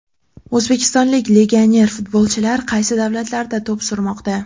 O‘zbekistonlik legioner futbolchilar qaysi davlatlarda to‘p surmoqda?.